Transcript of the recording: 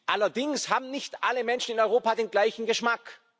Allerdings haben nicht alle Menschen in Europa den gleichen Geschmack.